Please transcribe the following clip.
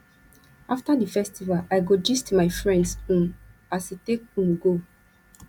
after di festival i go gist my friends um as e take um go